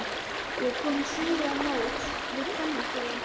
Ég er kominn suður á móts við kvennaskólann.